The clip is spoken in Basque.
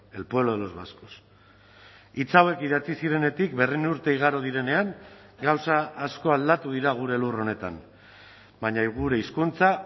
el pueblo de los vascos hitz hauek idatzi zirenetik berrehun urte igaro direnean gauza asko aldatu dira gure lur honetan baina gure hizkuntza